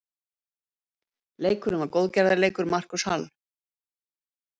Leikurinn var góðgerðarleikur Marcus Hall.